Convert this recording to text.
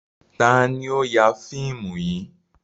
Ta ló ya fíìmù yìí?